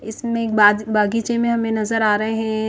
इसमें एक बाज बगीचे में हमें नजर आ रहे है --